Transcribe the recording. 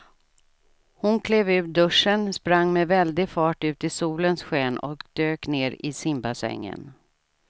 Hon klev ur duschen, sprang med väldig fart ut i solens sken och dök ner i simbassängen.